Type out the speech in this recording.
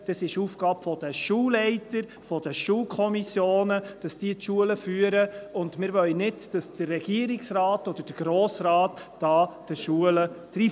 Es ist die Aufgabe der Schulleiter, der Schulkommissionen, die Schulen zu führen, und wir wollen nicht, dass der Regierungsrat oder der Grosse Rat den Schulen da dreinredet.